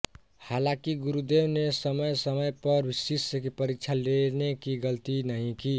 हालांकि गुरुदेव ने समयसमय पर शिष्य की परीक्षा लेने की गलती नहीं की